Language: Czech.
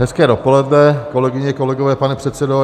Hezké dopoledne, kolegyně, kolegové, pane předsedo.